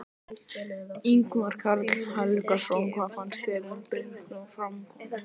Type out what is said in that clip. Ingimar Karl Helgason: Hvað finnst þér um svona framkomu?